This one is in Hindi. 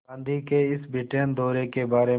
गांधी के इस ब्रिटेन दौरे के बारे में